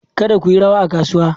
Kada ku yi rawa a kasuwa!